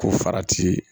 Ko farati ye